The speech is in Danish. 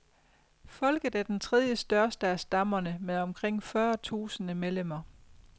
Folket er den tredje største af stammerne med omkring fyrre tusinde medlemmer.